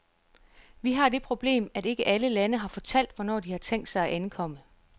Vi har det problem, at ikke alle lande har fortalt, hvornår de har tænkt sig at ankomme.